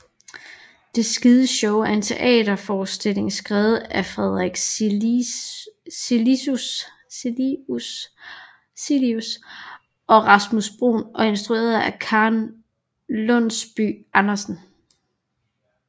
Det Skide Show er en teaterforestilling skrevet af Frederik Cilius og Rasmus Bruun og instrueret af Karen Lundsby Andersen